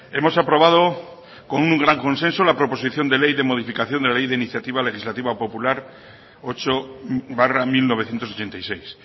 hemos aprobado con un gran consenso la proposición de ley de modificación de la ley de iniciativa legislativa popular ocho barra mil novecientos ochenta y seis